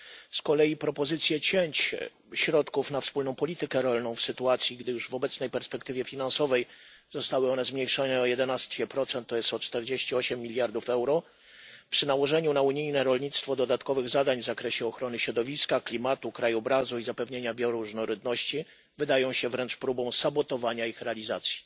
Z kolei propozycje cięć środków na wspólną politykę rolną w sytuacji, gdy już w obecnej perspektywie finansowej zostały one zmniejszone o 11, to jest o 48 miliardów euro, przy nałożeniu na unijne rolnictwo dodatkowych zadań w zakresie ochrony środowiska, klimatu, krajobrazu i zapewnienia bioróżnorodności, wydają się wręcz próbą sabotowania ich realizacji.